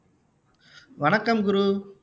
வணக்கம் குரு